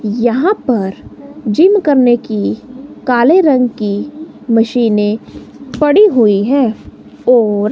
यहां पर जिम करने की काले रंग की मशीनें पड़ी हुई है और--